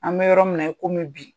An bɛ yɔrɔ min na i komi bi.